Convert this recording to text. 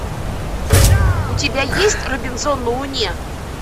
у тебя есть робинзон на луне